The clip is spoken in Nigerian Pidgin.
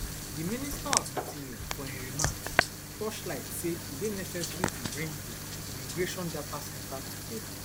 di minister of interior for im remarks torchlight say e dey necessary to bring di immigration data centre togeda